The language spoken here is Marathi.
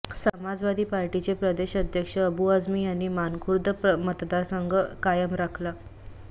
समाजवादी पार्टीचे प्रदेश अध्यक्ष अबू आझमी यांनी मानखुर्द मतदारसंघ कायम राखला